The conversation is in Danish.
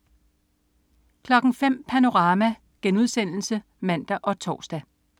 05.00 Panorama* (man og tors)